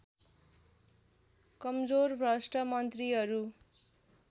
कमजोर भ्रष्ट मन्त्रीहरू